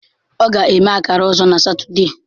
Ọ ga-eme akara ọzọ na Satọde.